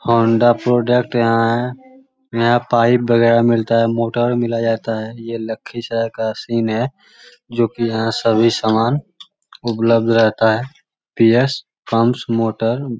Honda product यहाँ है यहाँ पाइप वगेरा मिलता है मोटर मिला जाता यह लखीसराय का सीन है जो की यहाँ सभी सामान उपलब्ध रहता है पी.एस. Pumps motor --